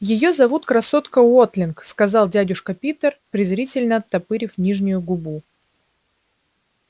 её зовут красотка уотлинг сказал дядюшка питер презрительно оттопырив нижнюю губу